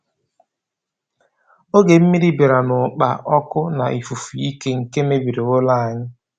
Oge mmiri bịara na ụkpa, ọkụ na ifufe ike, nke mebiri ụlọ anyị.